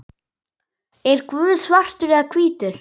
Er Guð svartur eða hvítur?